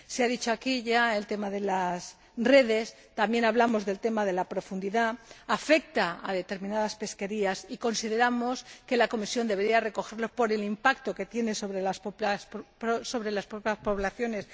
Se ha mencionado aquí ya el tema de las redes, también hablamos del tema de la profundidad. Afecta a determinadas pesquerías y consideramos que la Comisión debería recogerlo por el impacto que tiene sobre las propias poblaciones.